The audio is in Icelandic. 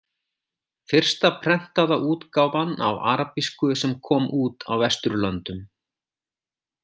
Fyrsta prentaða útgáfan á arabísku sem kom út á Vesturlöndum.